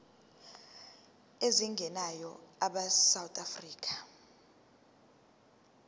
ezingenayo abesouth african